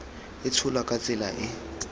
e tsholwa ka tsela e